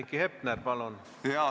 Heiki Hepner, palun!